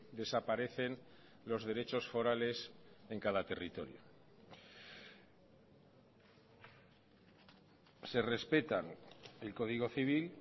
desaparecen los derechos forales en cada territorio se respetan el código civil